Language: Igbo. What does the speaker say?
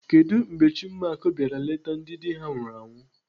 Kedụ mgbe Chinmark bịara nleta ndị dị ha nwụrụ anwụ?